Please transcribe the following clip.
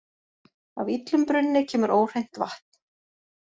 Af illum brunni kemur óhreint vatn.